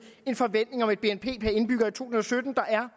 en forventning om et bnp per indbygger i to tusind og sytten der er